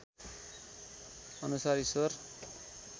अनुसार ईश्वर